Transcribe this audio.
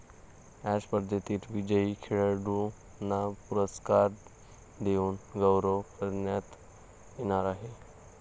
या स्पर्धेतील विजयी खेळाडूंना पुरस्कार देऊन गौरव करण्यात येणार आहे.